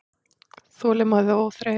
Þolinmæði og óþreyja